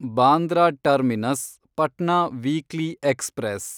Bandra terminus Patna weekly express